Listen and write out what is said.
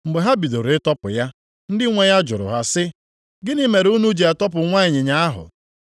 Mgbe ha bidoro ịtọpụ ya, ndị nwe ya jụrụ ha sị, “Gịnị mere unu ji atọpụ nwa ịnyịnya ahụ?”